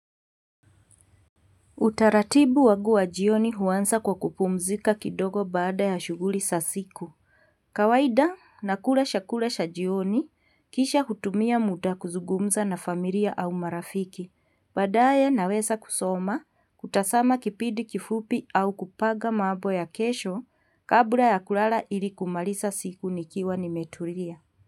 Utaratibu wagu wa jioni huansa kwa kupumzika kidogo baada ya shuguli sa siku. Kawaida nakula shakula sha jioni kisha hutumia muda kuzugumza na familia au marafiki. Baadaye naweza kusoma kutasama kipidi kifupi au kupaga mabo ya kesho kabla ya kulala ili kumalisa siku nikiwa nimetulia.